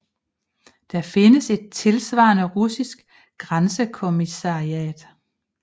Der findes et tilsvarende russisk grænsekommissariat